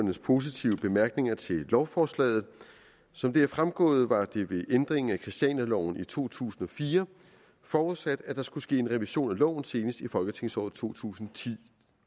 positive bemærkninger til lovforslaget som det er fremgået var det ved ændringen af christianialoven i to tusind og fire forudsat at der skulle ske en revision af loven senest i folketingsåret to tusind